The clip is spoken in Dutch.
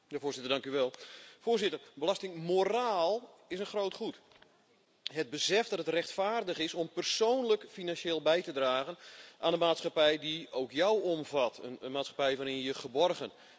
Voorzitter, belastingmoraal is een groot goed het besef dat het rechtvaardig is om persoonlijk financieel bij te dragen aan de maatschappij die ook jou omvat, een maatschappij waarin je je geborgen en vrij voelt.